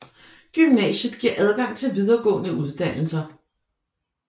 Gymnasiet giver adgang til videregående uddannelser